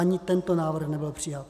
Ani tento návrh nebyl přijat.